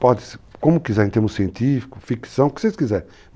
Pode ser, como quiser, em termos científico, ficção, o que vocês quiserem.